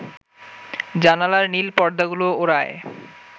জানালার নীল পর্দাগুলো ওড়ায়